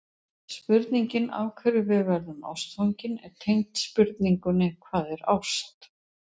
Spurningin af hverju við verðum ástfangin er tengd spurningunni Hvað er ást?